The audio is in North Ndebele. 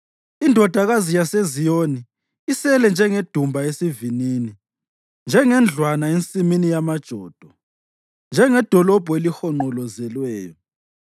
Indodakazi yaseZiyoni isele njengedumba esivinini, njengendlwana ensimini yamajodo, njengedolobho elihonqolozelweyo.